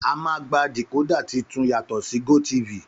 Àmá gbà dikodà tìtún yàtọ si gotifi